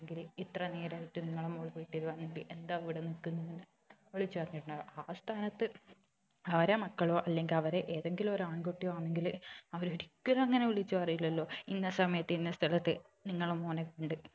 അല്ലങ്കില് ഇത്ര നേരായിട്ട് നിങ്ങളെ മോള് വീട്ടിൽ വന്നില്ലെ എന്താ ഇവിടെ നിക്കുന്നത് വിളിച്ച് പറഞ്ഞിട്ടുണ്ടാവും ആ സ്ഥാനത്ത് അവരെ മക്കളോ അല്ലങ്കില് അവരെ ഏതെങ്കിലും ഒരു ആൺകുട്ടി ആണെങ്കിലോ അവര് ഒരിക്കലും അങ്ങനെ വിളിച്ച് പറയില്ലലോ ഇന്ന സമയത്ത് ഇന്ന സ്ഥലത്ത് നിങ്ങളെ മോനെ കണ്ട്